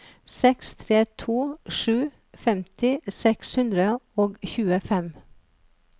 seks tre to sju femti seks hundre og tjuefem